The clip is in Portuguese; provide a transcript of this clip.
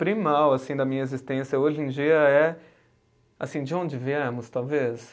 primal assim da minha existência hoje em dia é assim, de onde viemos, talvez?